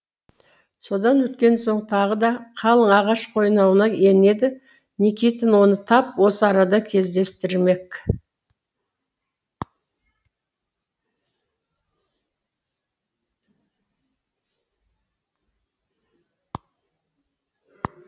содан өткен соң тағы да қалың ағаш қойнауына енеді никитич оны тап осы арада кездестірмек